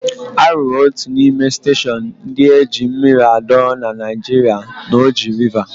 A rụrụ otu n'ime steshọn ndị eji mmiri adọrọ na Naịjirịa na Oji Rịva.